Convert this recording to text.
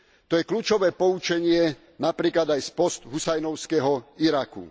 To je kľúčové poučenie napríklad aj z post husajnovského Iraku.